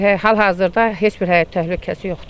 Hal-hazırda heç bir həyat təhlükəsi yoxdur.